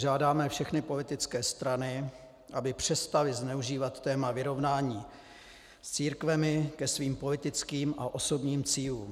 Žádáme všechny politické strany, aby přestaly zneužívat téma vyrovnání s církvemi ke svým politickým a osobním cílům.